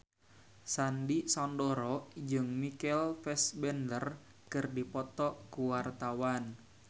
Sandy Sandoro jeung Michael Fassbender keur dipoto ku wartawan